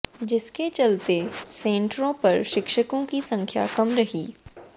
जिसके चलते सेंटरों पर शिक्षकों की संख्या कम रही